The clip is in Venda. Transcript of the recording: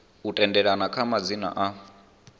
u tendelana kha madzina a